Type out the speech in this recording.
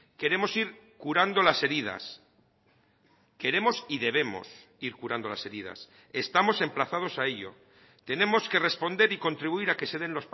queremos ir curando las heridas queremos y debemos ir curando las heridas estamos emplazados a ello tenemos que responder y contribuir a que se den